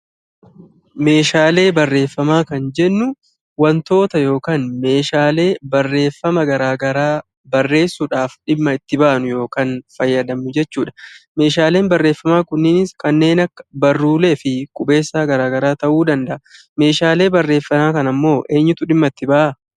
Meeshaalee barreeffamaa kan jennu wantoota yookaan meeshaalee barreeffama garaa garaa barreessuudhaaf dhimma itti baanu yookan fayyadamnu jechuudha. Meeshaaleen barreeffamaa kunninis kanneen akka barruulee fi qubeessaa garaa garaa ta'uu danda'a. Meeshaalee barreeffamaa kanammoo eenyutu dhimma itti ba'aa?